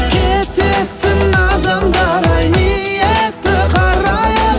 кететін адамдар ай ниеті қарайып